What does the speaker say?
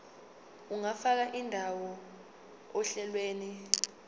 ungafaka indawo ohlelweni